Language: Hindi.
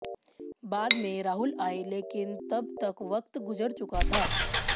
बाद में राहुल आए लेकिन तब तक वक्त गुजर चुका था